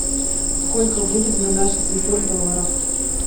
сколько будет на наши семьсот долларов